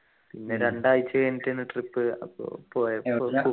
പിന്നെ രണ്ടാഴ്ച കഴിഞ്ഞിട്ടാണ് trip അപ് പോയത്